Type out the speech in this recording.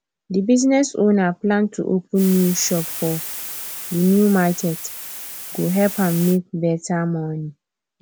the business owner plan to open new shop for the new market go help am make better money